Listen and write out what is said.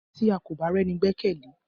Tí à kọ bá rení gbekele?